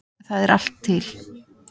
Það er allt til.